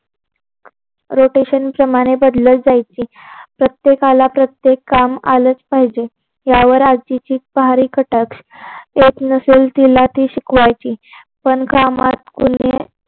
rotation प्रमाणे बदलत जायचे. प्रत्येकाला प्रत्येक काम आलच पाहिजे. यावर आजीची सारी कटाक्ष येत नसेल तिला ते शिकवायची. पण कामात कोणी